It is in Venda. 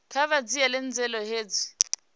kha vha dzhiele nzhele hezwi